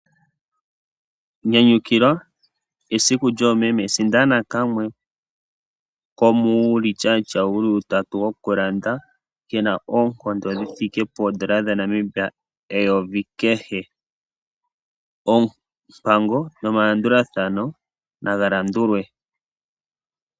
Nyanyukilwa esiku lyoomeme sindana kamwe komuulityaatya wuli utatu wokulanda kena oonkondo dhithike poondola dhaNamibia eyovi kehe. Oompango nomalandulathano nagalandulwe.